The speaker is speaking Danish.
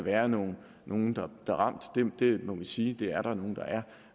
er nogle nogle der er ramt det må vi sige der er nogle der er